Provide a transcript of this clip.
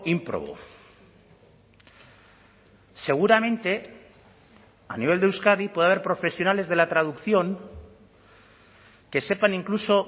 ímprobo seguramente a nivel de euskadi puede haber profesionales de la traducción que sepan incluso